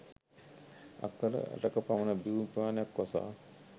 අක්කර 8 ක පමණ භූමි ප්‍රමාණයක් වසා